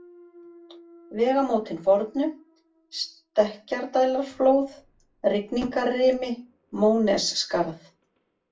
Vegamótin fornu, Stekkjardælarflóð, Rigningarrimi, Mónesskarð